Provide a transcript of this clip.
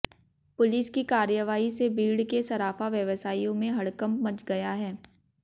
police की कार्रवाई से बीड़ के सराफा व्यवसायियों में हड़कंप मच गया है